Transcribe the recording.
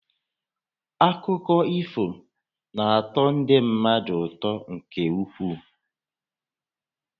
Akụkọ ifo na-atọ ndị mmadụ ụtọ nkè ukwuu